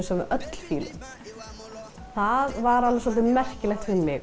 sem við öll fílum það var merkilegt fyrir mig